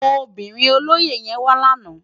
Óbirin ólóyé yèn wá làná